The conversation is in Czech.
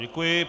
Děkuji.